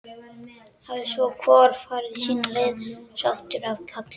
Hafi svo hvor farið sína leið, sáttur að kalla.